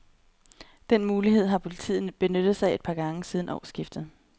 Den mulighed har politiet benyttet sig af et par gange siden årskiftet.